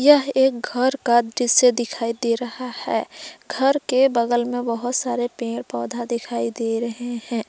यह एक घर का दृश्य दिखाई दे रहा है घर के बगल में बहोत सारे पेड़ पौधा दिखाई दे रहे हैं।